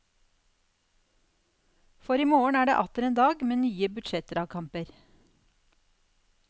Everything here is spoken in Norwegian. For i morgen er det atter en dag med nye budsjettdragkamper.